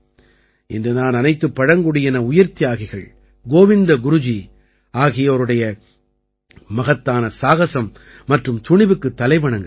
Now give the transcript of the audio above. இன்று நான் அனைத்துப் பழங்குடியின உயிர்த்தியாகிகள் கோவிந்த குருஜி ஆகியோருடைய மகத்தான சாகஸம் மற்றும் துணிவுக்குத் தலை வணங்குகிறேன்